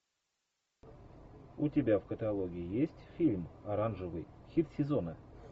у тебя в каталоге есть фильм оранжевый хит сезона